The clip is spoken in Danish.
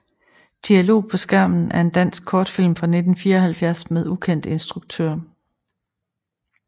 Dialog på skærmen er en dansk kortfilm fra 1974 med ukendt instruktør